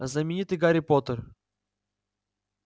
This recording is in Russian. знаменитый гарри поттер